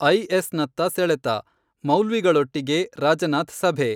ಐಎಸ್‌ನತ್ತ ಸೆಳೆತ: ಮೌಲ್ವಿಗಳೊಟ್ಟಿಗೆ ರಾಜನಾಥ್ ಸಭೆ.